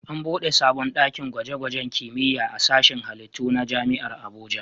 An buɗe sabon ɗakin gwaje-gwajen kimiyya a sashin halittu na Jami'ar Abuja.